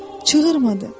Çığırmadı.